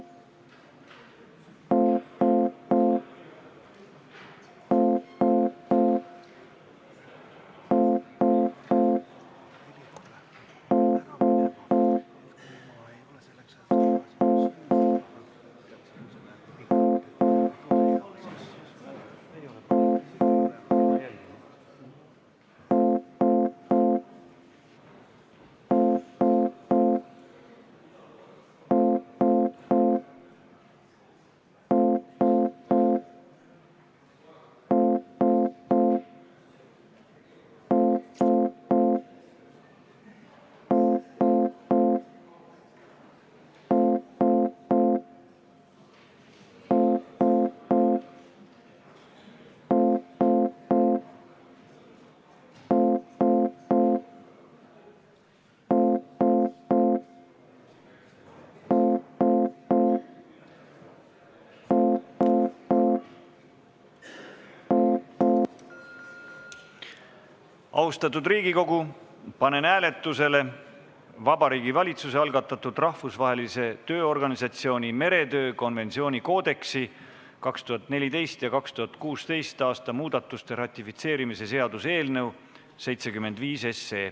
Austatud Riigikogu, panen hääletusele Vabariigi Valitsuse algatatud Rahvusvahelise Tööorganisatsiooni meretöö konventsiooni koodeksi 2014. ja 2016. aasta muudatuste ratifitseerimise seaduse eelnõu.